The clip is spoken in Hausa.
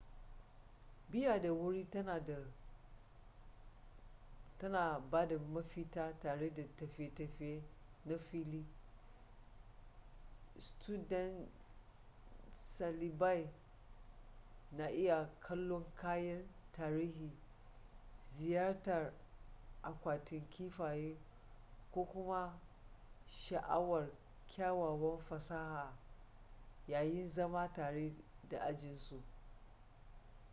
biya da wuri tana ba da mafita tare da tafiye-tafiye na fili studentsalibai na iya kallon kayan tarihin ziyartar akwatin kifaye ko kuma sha'awar kyawawan fasaha yayin zama tare da ajinsu